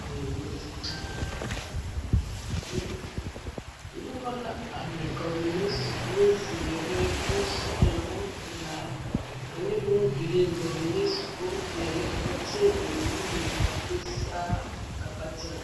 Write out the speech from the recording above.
Noba la are ka ba mine su bonzeere bonsɔglɔ bonpelaa ane bongirin ka ba mine su bompeɛle ka ba teɛ ba nuuri k,a do saa ka ba kyɛnɛ.